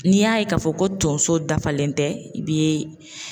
N'i y'a ye k'a fɔ ko tonso dafalen tɛ i bi